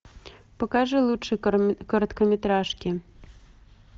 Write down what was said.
покажи лучшие короткометражки